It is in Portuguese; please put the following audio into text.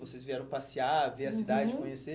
Vocês vieram passear, uhum, ver a cidade, conhecer.